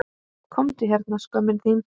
Komdu hérna skömmin þín!